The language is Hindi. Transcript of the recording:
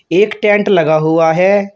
एक टेंट लगा हुआ है।